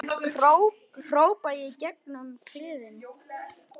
hrópa ég í gegn um kliðinn.